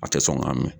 A tɛ sɔn k'a mɛn